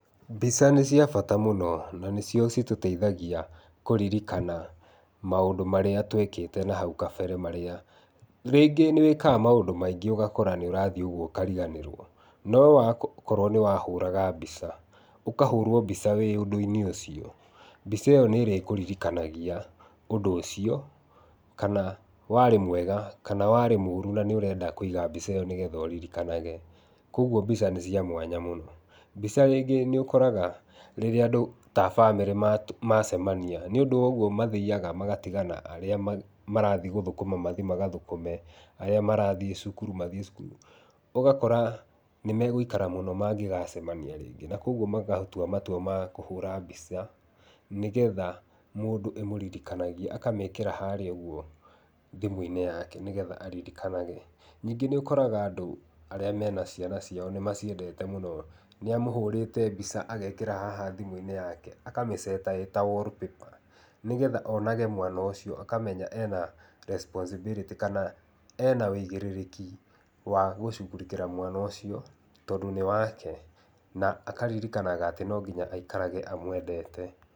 Mbica nĩciabata mũno na nĩcio itũteithagia kũririkana maũndũ marĩa twekĩte nahau kabere marĩa, rĩngĩ nĩwĩkaga maũndũ maingĩ ũgakorwa nĩũrathii ũkariganĩriwo, nowakorwo nĩwahũraga mbica ũkahũrwa mbica wĩ ũndũinĩ ũcio, mbica ĩyo nĩrĩkũririkanagia ũndũ ũcio kana warĩ mwega kana warĩ mũru na nĩũrenda kũiga mbica ĩyo nĩgetha ũririkanage, kwoguo mbica nĩcĩamwanya mũno. Mbica rĩngĩ nĩũkoraga rĩrĩa andũ ta bamĩrĩ macemania nĩũndũ wa ũguo mathiaga magatigana harĩa marathii gũthũkũma mathii magathũkũme, arĩa marathii cukuru mathiĩ cukuru, ũgakora nĩmegũikara mũno mangĩgacemania rĩngĩ na kwoguo magatua matua makũhũra mbica nĩgetha mũndũ ĩmũririkanagie akamĩkĩra harĩa ũguo thimũinĩ yake nĩgetha aririkanage, ningĩ nĩũkoraga andũ arĩa mena ciana ciao nĩmaciendete mũno nĩamuhũrĩte mbica agekĩra haha thimũini yake akamĩceta ĩta wallpaper nĩgetha onage mwana ũcio ũkamenya ena responsibility kana ena wĩgĩrĩrĩki wa gũshurĩkĩra mwana ũcio tondũ nĩ wake na akaririkanaga atĩ nonginya aturage amwendete.